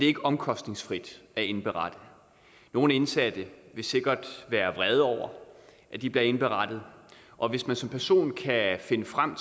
ikke omkostningsfrit at indberette nogle indsatte vil sikkert være vrede over at de bliver indberettet og hvis man som person kan finde frem